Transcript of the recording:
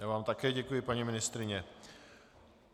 Já vám také děkuji, paní ministryně.